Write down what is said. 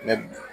Ne bi